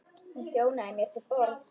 Hún þjónaði mér til borðs.